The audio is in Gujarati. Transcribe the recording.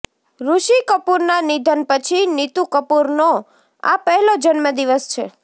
ઋષિ કપૂરના નિધન પછી નીતૂ કપૂરનો આ પહેલો જન્મદિવસ છે